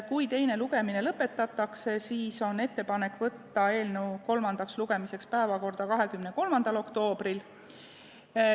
Kui teine lugemine lõpetatakse, siis on ettepanek võtta eelnõu kolmandaks lugemiseks päevakorda 23. oktoobriks.